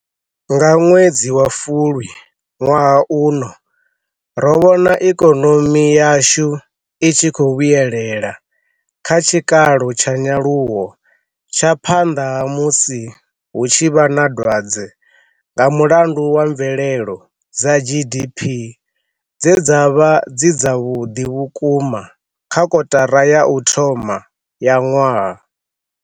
Nga ṅwedzi wa Fulwi, ṅwaha uno ro vhona ikonomi yashu i tshi khou vhuyelela kha tshikalo tsha nyaluwo tsha phanḓa ha musi hu tshi vha na dwadze nga mulandu wa mvelelo dza GDP dze dza vha dzi dzavhuḓi vhukuma kha kotara ya u thoma ya ṅwaha.